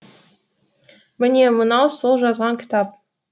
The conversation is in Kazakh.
міне мынау сол жазған кітап